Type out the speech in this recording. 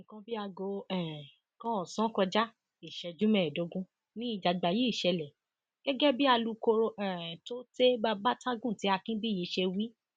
nǹkan bíi aago um kan ọsán kọjá ìṣẹjú mẹẹẹdógún ni ìjàgbá yìí ṣẹlẹ gẹgẹ bí alūkkóró um tôte babatagùntẹ akinbíyì ṣe wí